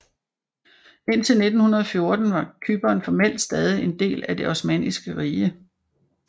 Indtil 1914 var Cypern formelt stadig en del af det Osmanniske Rige